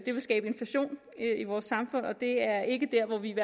ville skabe inflation i vores samfund og det er ikke derhen vi